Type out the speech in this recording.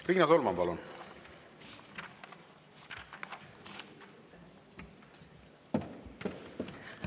Riina Solman, palun!